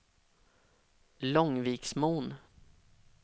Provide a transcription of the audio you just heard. Långviksmon